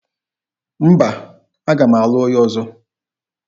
Mba, aga m alụ onye ọzọ.